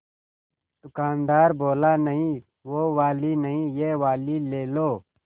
दुकानदार बोला नहीं वो वाली नहीं ये वाली ले लो